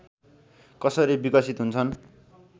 कसरी विकसित हुन्छन्